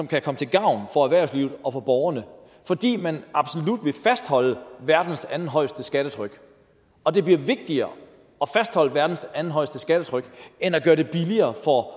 kan komme til gavn for erhvervslivet og for borgerne fordi man absolut vil fastholde verdens andenhøjeste skattetryk og det bliver vigtigere at fastholde verdens andenhøjeste skattetryk end at gøre det billigere for